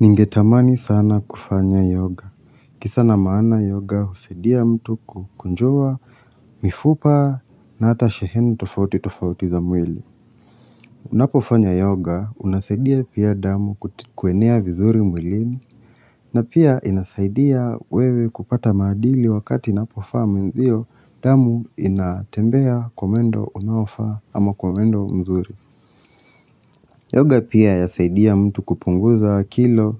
Ningetamani sana kufanya yoga. Kisa na maana yoga husaidia mtu kukunjua mifupa na hata shehemu tofauti tofauti za mwili. Unapofanya yoga, unasaidia pia damu kuenea vizuri mwilini na pia inasaidia wewe kupata madili wakati inapofa mwenzio damu inatembea kwa mwendo unaofaa ama kwa mwendo mzuri. Yoga pia yasaidia mtu kupunguza kilo.